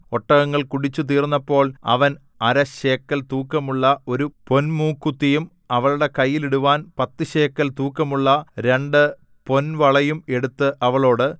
ഒട്ടകങ്ങൾ കുടിച്ചു തീർന്നപ്പോൾ അവൻ അര ശേക്കെൽ തൂക്കമുള്ള ഒരു പൊന്മൂക്കുത്തിയും അവളുടെ കൈയ്യിലിടുവാൻ പത്തുശേക്കെൽ തൂക്കമുള്ള രണ്ടു പൊൻവളയും എടുത്ത് അവളോട്